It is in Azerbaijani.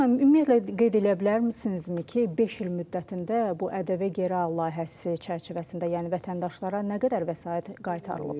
Zaur müəllim, ümumiyyətlə qeyd eləyə bilərsinizmi ki, beş il müddətində bu ƏDV geri al layihəsi çərçivəsində, yəni vətəndaşlara nə qədər vəsait qaytarılıb?